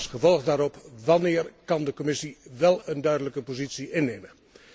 En in vervolg daarop wanneer kan de Commissie wel een duidelijke positie innemen?